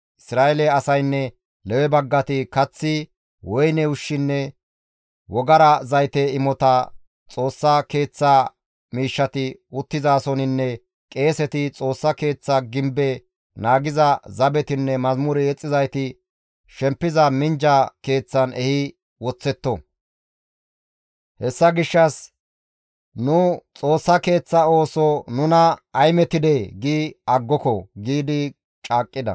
Isra7eele asaynne Lewe baggati kath, woyne ushshunne wogara zayte imota Xoossa Keeththa miishshati uttizasoninne qeeseti, Xoossa Keeththa gibbe naagiza zabetinne mazamure yexxizayti shempiza minjja keeththan ehi woththetto. «Hessa gishshas, ‹Nu Xoossa Keeththa ooso nuna ay metidee!› gi aggoko!» giidi caaqqida.